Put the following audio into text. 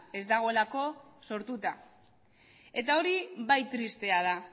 ez dagoelako sortuta eta hori bai tristea da